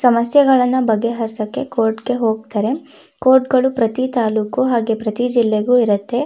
ಸಮಸ್ಯೆ ಗಳನ್ನ ಬಗೆಹರಸಕ್ಕೆ ಕೋರ್ಟ್ ಗೆ ಹೋಗತ್ತರೆ ಕೋರ್ಟ್ ಗಳು ಪ್ರತಿ ತಾಲ್ಲುಕು ಹಾಗೆ ಪ್ರತಿ ಜಿಲ್ಲೆಗು ಇರುತ್ತೆ.